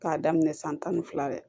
K'a daminɛ san tan ni fila de